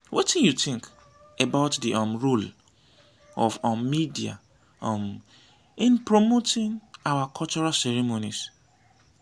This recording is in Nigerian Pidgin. wetin you think about di um role of um media um in promoting our cultural ceremonies?